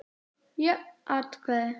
Jöfn atkvæði